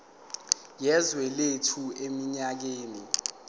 yezwe lethu eminyakeni